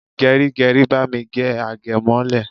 Geri geri, bami gé agemole!